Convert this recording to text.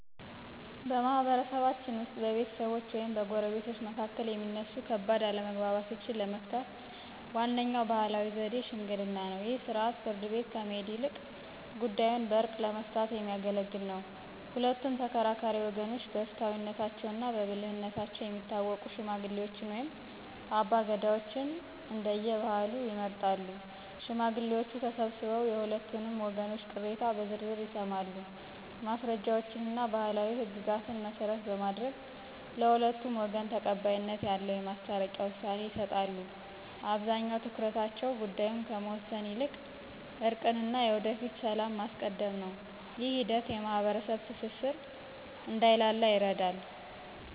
በማኅበረሰባችን ውስጥ በቤተሰቦች ወይም በጎረቤቶች መካከል የሚነሱ ከባድ አለመግባባቶችን ለመፍታት ዋነኛው ባሕላዊ ዘዴ ሽምግልና ነው። ይህ ሥርዓት ፍርድ ቤት ከመሄድ ይልቅ ጉዳዩን በዕርቅ ለመፍታት የሚያገለግል ነው። ሁለቱም ተከራካሪ ወገኖች በፍትሐዊነታቸውና በብልህነታቸው የሚታወቁ ሽማግሌዎችን ወይም አባገዳዎችን (እንደየባህሉ) ይመርጣሉ። ሽማግሌዎቹ ተሰብስበው የሁለቱንም ወገኖች ቅሬታ በዝርዝር ይሰማሉ። ማስረጃዎችንና ባሕላዊ ሕግጋትን መሠረት በማድረግ፣ ለሁለቱም ወገን ተቀባይነት ያለውን የማስታረቂያ ውሳኔ ይሰጣሉ። አብዛኛው ትኩረታቸው ጉዳዩን ከመወሰን ይልቅ እርቅንና የወደፊቱን ሰላም ማስቀደም ነው። ይህ ሂደት የማኅበረሰብ ትስስር እንዳይላላ ይረዳል።